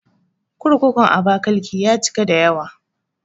Kurkurun Abakiliki ya cika da yawa